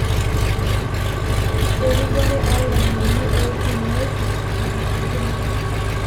Erripore oo lainnini ootunieki Nena aitubulu.